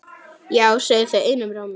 Já segja þau einum rómi.